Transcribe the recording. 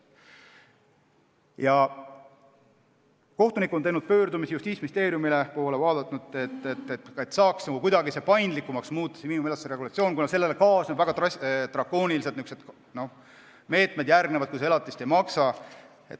Kohtunikud on teinud pöördumise Justiitsministeeriumi poole, et saaks ehk kuidagi miinimumelatise regulatsiooni paindlikumaks muuta, kuna sellega kaasnevad väga drakoonilised meetmed nende suhtes, kes elatist ei maksa.